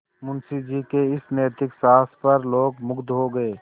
मुंशी जी के इस नैतिक साहस पर लोग मुगध हो गए